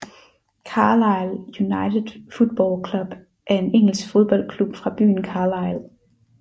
Carlisle United Football Club er en engelsk fodboldklub fra byen Carlisle